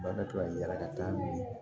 Ba ka to ka yala ka taa ni